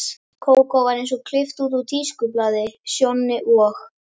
Kókó var eins og klippt út úr tískublaði, Sjonni og